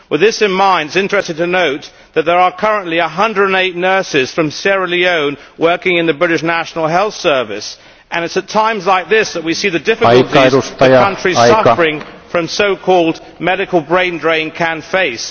With this in mind it is interesting to note that there are currently 108 nurses from Sierra Leone working in the British National Health Service and it is at times like this that we see the difficulties that countries suffering from so called medical brain drain can face.